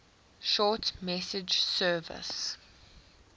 short message service